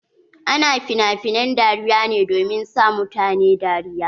Ana finafinen dariya ne domin sa mutane dariya.